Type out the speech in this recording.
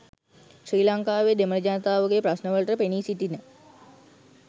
ශ්‍රී ලංකාවේ දෙමළ ජනතාවගේ ප්‍රශ්නවලට පෙනීසිටින